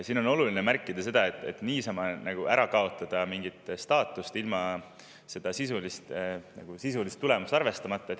Siin on oluline märkida, et niisama ära kaotada mingit staatust ilma sisulist tulemust arvestamata.